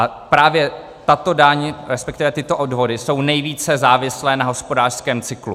A právě tato daň, respektive tyto odvody jsou nejvíce závislé na hospodářském cyklu.